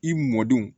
I m mɔdenw